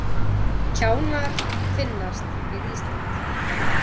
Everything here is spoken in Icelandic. Kjánar finnast við Ísland